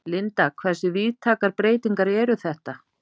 Linda, hversu víðtækar breytingar eru þetta?